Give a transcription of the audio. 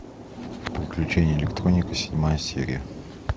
приключения электроника седьмая серия